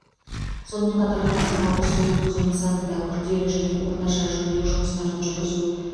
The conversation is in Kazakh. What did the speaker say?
сонымен қатар тоқсан алты су өткізу нысанында күрделі және орташа жөндеу жұмыстарын жүргізу